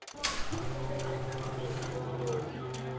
isiqephu c umbuzo